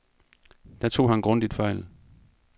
Der tog han grundigt fejl.